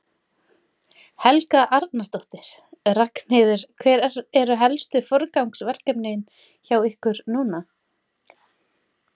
Helga Arnardóttir: Ragnheiður, hver eru helstu forgangsverkefnin hjá ykkur núna?